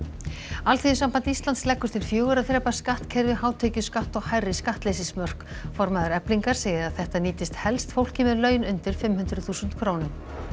Alþýðusamband Íslands leggur til fjögurra þrepa skattkerfi hátekjuskatt og hærri skattleysismörk formaður Eflingar segir að þetta nýtist helst fólki með laun undir fimm hundruð þúsund krónum